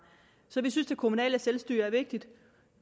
så vi synes det kommunale selvstyre er vigtigt